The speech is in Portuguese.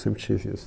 Eu sempre tive isso.